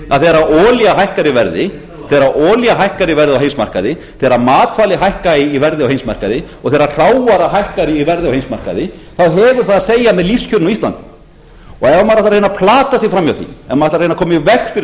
að þegar olía hækkar í verði á heimsmarkaði þegar matvæli hækka í verði á heimsmarkaði og þegar hrávara hækkar í verði á heimsmarkaði þá hefur það að segja með lífskjörin á íslandi ef maður ætlar að reyna að plata sig fram með því ef maður ætlar að reyna að koma í veg fyrir